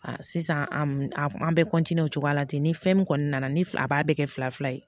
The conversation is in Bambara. sisan an bɛɛ o cogoya la ten ni fɛn min kɔni nana ni a b'a bɛɛ kɛ fila fila ye